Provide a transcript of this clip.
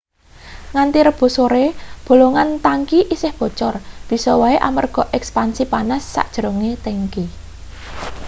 nganthi rebo sore bolongan tangki isih bocor bisa wae amarga ekspansi panas sajerone tangki